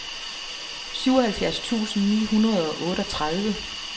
syvoghalvfjerds tusind ni hundrede og otteogtredive